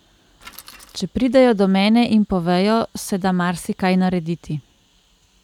Če pridejo do mene in povejo, se da marsikaj narediti.